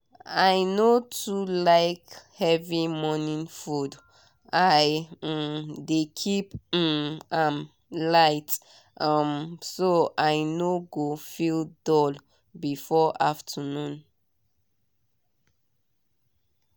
i no too like heavy morning food i um dey keep um am light um so i no go feel dull before afternoon.